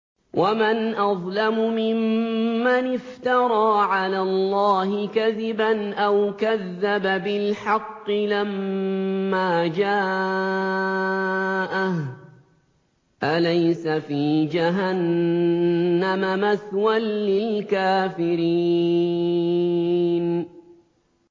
وَمَنْ أَظْلَمُ مِمَّنِ افْتَرَىٰ عَلَى اللَّهِ كَذِبًا أَوْ كَذَّبَ بِالْحَقِّ لَمَّا جَاءَهُ ۚ أَلَيْسَ فِي جَهَنَّمَ مَثْوًى لِّلْكَافِرِينَ